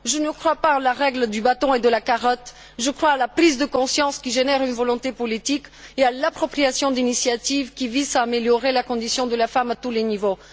Je ne crois pas à la règle du bâton et de la carotte, je crois à la prise de conscience qui génère une volonté politique et l'appropriation d'initiatives qui visent à améliorer la condition de la femme à tous les niveaux.